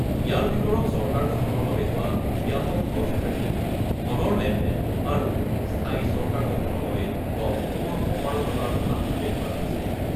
ইয়াৰ ভিতৰত চৰকাৰ গঠনৰ বাবে হোৱা ব্যাপক হৰ্ছ ট্ৰেডিং, ধনৰ লেনদেন আৰু স্থায়ী চৰকাৰ গঠনৰ বাবে দলসমূহৰ অপাৰগতাৰ কথা উল্লেখ কৰা হৈছে।